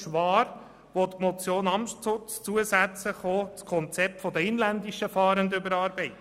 Schwaar will die Motion Amstutz zusätzlich das Konzept der inländischen Fahrenden überarbeiten.